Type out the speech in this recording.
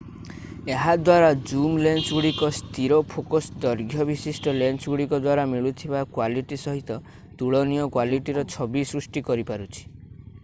ଏହା ଦ୍ୱାରା ଜୁମ୍ ଲେନ୍ସଗୁଡ଼ିକ ସ୍ଥିର ଫୋକସ୍ ଦୈର୍ଘ୍ୟ ବିଶିଷ୍ଟ ଲେନ୍ସଗୁଡ଼ିକ ଦ୍ୱାରା ମିଳୁଥିବା କ୍ୱାଲିଟି ସହିତ ତୁଳନୀୟ କ୍ୱାଲିଟିର ଛବି ସୃଷ୍ଟି କରିପାରୁଛି